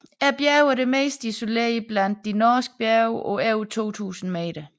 Bjerget er det mest isolerede blandt de norske bjerge på over 2000 m